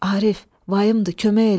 Arif, vaydı kömək elə.